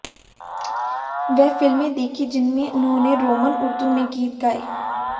वे फिल्में देखीं जिनमें उन्होंने रोमन उर्दू में गीत गाये